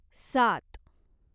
सात